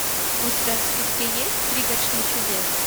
у тебя в списке есть пригоршня чудес